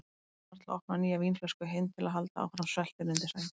Annar til að opna nýja vínflösku, hinn til að halda áfram sveltinu undir sæng.